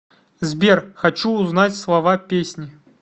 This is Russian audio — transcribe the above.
сбер хочу узнать слова песни